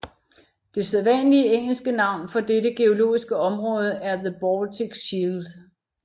Det sædvanlige engelske navn for dette geologiske område er the Baltic Shield